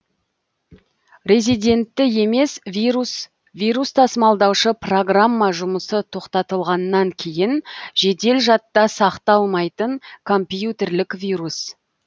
резидентті емес вирус вирус тасымалдаушы программа жұмысы тоқтатылғаннан кейін жедел жадта сақталмайтын компьютерлік вирус